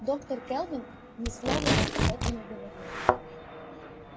доктор кэлвин ни слова вам об этом не говорила